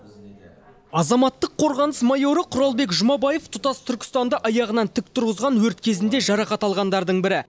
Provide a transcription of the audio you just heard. азаматтық қорғаныс майоры құралбек жұмабаев тұтас түркістанды аяғынан тік тұрғызған өрт кезінде жарақат алғандардың бірі